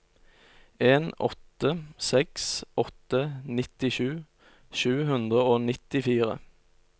en åtte seks åtte nittisju sju hundre og nittifire